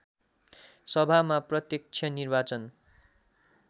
सभामा प्रत्यक्ष निर्वाचन